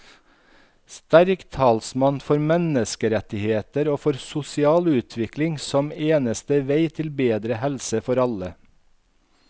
Sterk talsmann for menneskerettigheter og for sosial utvikling som eneste vei til bedre helse for alle.